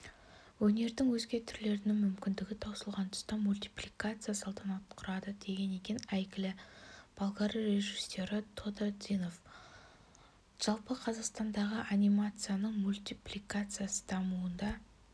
өнердің өзге түрлерінің мүмкіндігі таусылған тұста мультипликация салтанат құрады деген екен әйгілі болгар режиссері тодор динов жалпы қазақстандағы анимацияның мультипликацияның дамуына